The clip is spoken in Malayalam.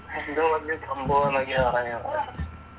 എന്തോ വലിയ സംഭവം ആണെന്നൊക്കെയാ പറയുന്നെ